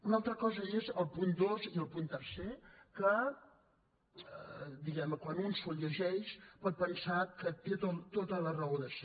una altra cosa és el punt dos i el punt tercer que diguem ne quan un se’ls llegeix pot pensar que tenen tota la raó de ser